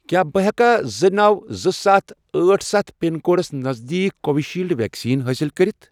کیٛاہ بہٕ ہیٚکیا زٕ، نو، زٕ، ستھَ، أٹھ، ستھَ، پِن کوڈس نزدیٖک کووِشیٖلڈ ویکسیٖن حٲصِل کٔرِتھ؟